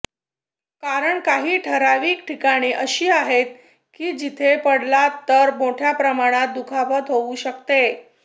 कारण काही ठरावीक ठिकाणे अशी आहेत की जिथे पडलात तर मोठ्या प्रमाणावर दुखापत होऊ शकते